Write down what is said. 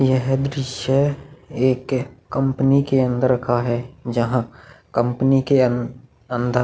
यह दृश्य एक कंपनी के अंदर का है जहाँ कंपनी के अन्न अंदर--